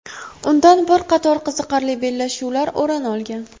Undan bir qator qiziqarli bellashuvlar o‘rin olgan.